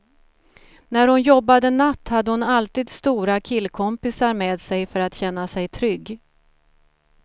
När hon jobbade natt hade hon alltid stora killkompisar med sig för att känna sig trygg.